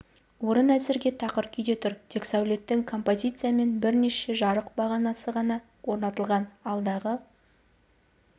орын әзірге тақыр күйде тұр тек сәулеттік композиция мен бірнеше жарық бағанасы ғана орнатылған алдағы